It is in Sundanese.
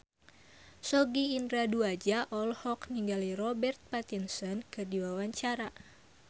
Sogi Indra Duaja olohok ningali Robert Pattinson keur diwawancara